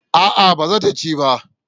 A'a ba za ta ci ba